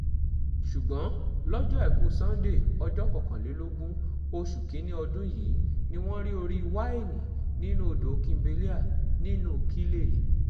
ṣùgbọ́n lọ́jọ́ àìkú sanńdé ọjọ́ kọkànlélógún oṣù kín-ín-ní ọdún yìí ni wọ́n rí orí wá ènì nínú odò kimbelea nílùú kiele